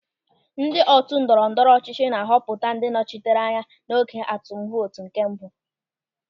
Ndị otu ndọrọ ndọrọ ọchịchị na-ahọpụta ndị nnọchiteanya n'oge atụm vootu nke mbụ.